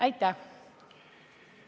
Aitäh!